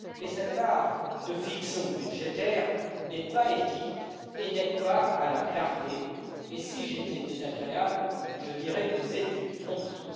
Cette part de fiction budgétaire n'est pas éthique et n'aide pas à la clarté et si j'étais désagréable, je dirais que c'est une tromperie.